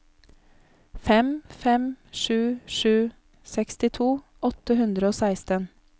fem fem sju sju sekstito åtte hundre og seksten